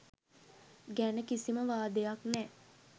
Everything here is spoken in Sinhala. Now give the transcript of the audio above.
ගැන කිසිම වාදයක් නෑ.